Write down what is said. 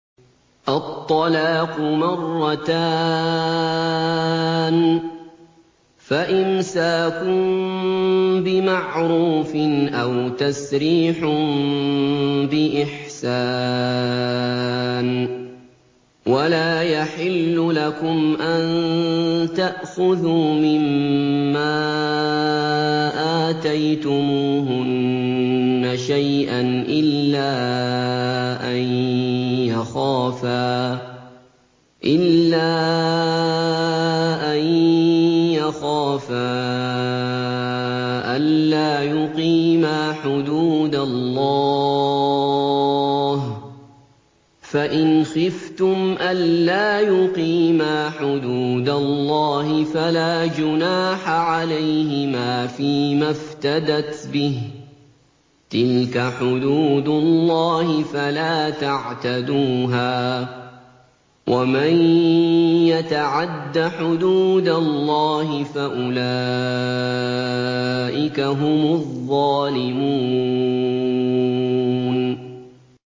الطَّلَاقُ مَرَّتَانِ ۖ فَإِمْسَاكٌ بِمَعْرُوفٍ أَوْ تَسْرِيحٌ بِإِحْسَانٍ ۗ وَلَا يَحِلُّ لَكُمْ أَن تَأْخُذُوا مِمَّا آتَيْتُمُوهُنَّ شَيْئًا إِلَّا أَن يَخَافَا أَلَّا يُقِيمَا حُدُودَ اللَّهِ ۖ فَإِنْ خِفْتُمْ أَلَّا يُقِيمَا حُدُودَ اللَّهِ فَلَا جُنَاحَ عَلَيْهِمَا فِيمَا افْتَدَتْ بِهِ ۗ تِلْكَ حُدُودُ اللَّهِ فَلَا تَعْتَدُوهَا ۚ وَمَن يَتَعَدَّ حُدُودَ اللَّهِ فَأُولَٰئِكَ هُمُ الظَّالِمُونَ